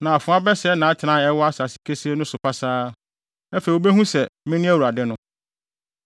na afoa bɛsɛe nʼatenae a ɛwɔ asase kesee so no pasaa. Afei wobehu sɛ, mene Awurade no.